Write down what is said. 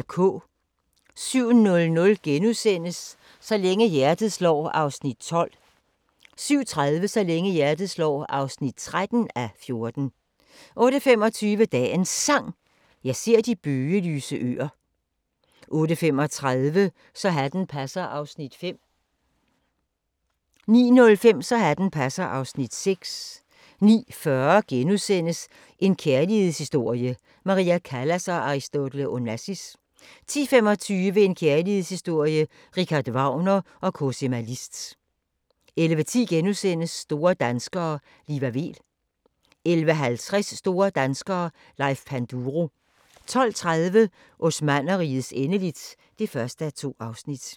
07:00: Så længe hjertet slår (12:14)* 07:30: Så længe hjertet slår (13:14) 08:25: Dagens Sang: Jeg ser de bøgelyse øer 08:35: Så hatten passer (Afs. 5) 09:05: Så hatten passer (Afs. 6) 09:40: En kærlighedshistorie – Maria Callas & Aristotle Onassis * 10:25: En kærlighedshistorie – Richard Wagner & Cosima Liszt 11:10: Store danskere - Liva Weel * 11:50: Store danskere - Leif Panduro 12:30: Osmannerrigets endeligt (1:2)